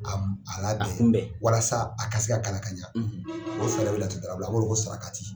A labɛn a kunbɛ walasa a ka se ka kalan ka ɲɛ o fɛrɛ bɛ laturudala bolo a b'o de wele ko sarakati.